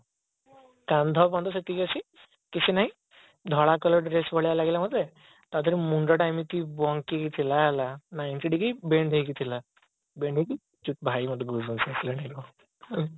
କାନ୍ଧ ପର୍ଯ୍ୟନ୍ତ ସେତିକି ଅଛି କିଛି ନାହିଁ ଧଳା colour dress ଭଳିଆ ଲାଗିଲା ମତେ ତା ଧିଏରେ ମୁଣ୍ଡଟା ଏମିତି ବାଙ୍କିକି ଥିଲା ହେଲା ninety degree bend ହେଇକି ଥିଲା bend ହେଇକି ଭାଇ ମତେ